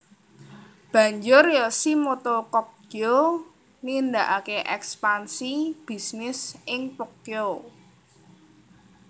Banjur Yoshimoto Kogyo nindakakè ekspansi bisnis ing Tokyo